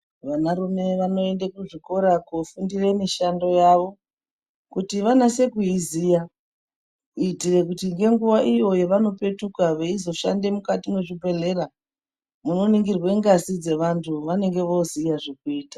Vanarume vanoende kuzvikora kufunde mishando yavo ,kuti vanase kuiziya, kuitira kuti ngenguva iyo yevanopetuka veizoshande mukati mwezvibhedhlera, munoningirwe ngazi dzeantu vanenge voziye zvekuita.